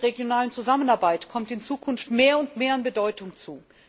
Der interregionalen Zusammenarbeit kommt in Zukunft mehr und mehr an Bedeutung zu.